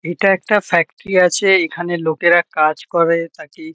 এটা একটা ফ্যাক্টরি আছে। এখানে লোকেরা কাজ করে থাকে ।